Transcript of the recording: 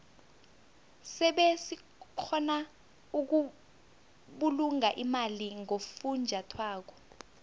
sebe sikgona ukubulunga imali ngofunjathwako